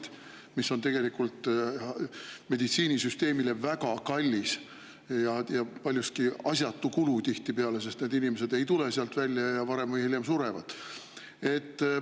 See kõik on tegelikult meditsiinisüsteemile väga kallis ja paljuski asjatu kulu tihtipeale, sest need inimesed ei tule sealt välja ja varem või hiljem surevad.